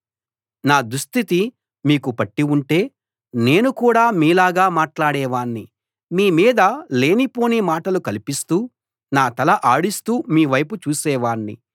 నా దుస్థితి మీకు పట్టి ఉంటే నేను కూడా మీలాగా మాట్లాడేవాణ్ణి మీ మీద లేనిపోని మాటలు కల్పిస్తూ నా తల ఆడిస్తూ మీవైపు చూసేవాణ్ణి